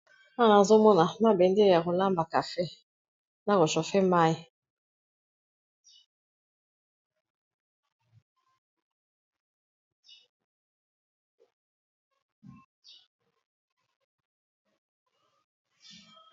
wana azomona mabende ya kolamba cafe na koshofe mai